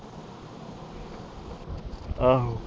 ਆਹੋ